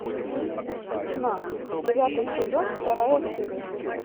тьма девятый сезон вторая серия